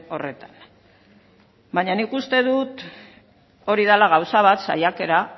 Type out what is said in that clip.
horretan baina nik uste dut hori dela gauza bat saiakera